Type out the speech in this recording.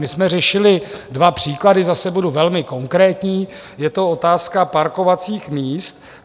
My jsme řešili dva příklady, zase budu velmi konkrétní, je to otázka parkovacích míst.